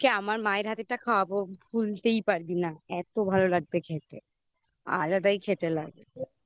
তোকে আমার মায়ের হাতেরটা খাওয়াবো ভুলতেই পারবি না এতো ভালো লাগবে খেতে আলাদাই খেতে লাগে